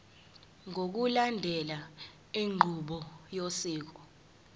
ngokulandela inqubo yosiko